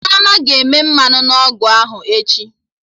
Chioma ga-eme mmanụ na ọgụ ahụ echi